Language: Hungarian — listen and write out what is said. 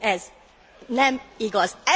Ez nem igaz.